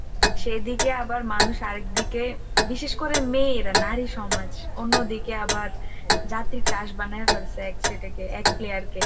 সেদিকে আবার মানুষ আরেক দিকে বিশেষ করে মেয়েরা নারী সমাজ অন্যদিকে আবার, জাতির crush বানায় ফেলছে এক সেটাকে এক player কে